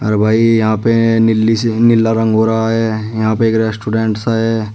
अरे भाई यहां पे नीली से नीला रंग हो रहा है यहां पे एक रेस्टोरेंट सा है।